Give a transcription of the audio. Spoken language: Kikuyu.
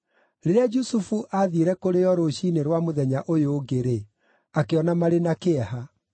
Rĩrĩa Jusufu aathiire kũrĩ o rũciinĩ rwa mũthenya ũyũ ũngĩ-rĩ, akĩona marĩ na kĩeha.